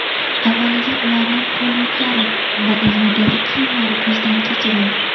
Avvaliga ularning qo‘l yuklari va egnidagi kiyimlari ko‘zdan kechirildi.